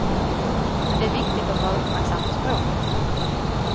Men det är viktigt att vara uppmärksam på språket.